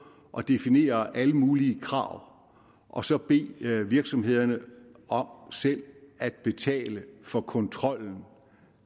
og definere alle mulige krav og så bede virksomhederne om selv at betale for kontrollen